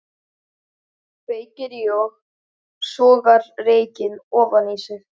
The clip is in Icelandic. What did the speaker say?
Kveikir í og sogar reykinn ofan í sig.